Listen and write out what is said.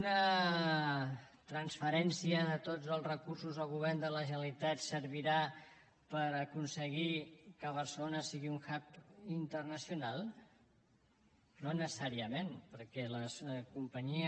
una transferència de tots els recursos al govern de la generalitat servirà per aconseguir que barcelona sigui un hub internacional no necessàriament perquè la companyia